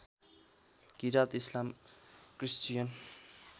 किरात इस्लाम क्रिस्चियन